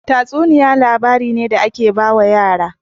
Tatsuniya labari ne da ake bawa yara